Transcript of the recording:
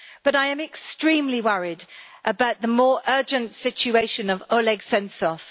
I am extremely worried about the more urgent situation of Oleg Sentsov.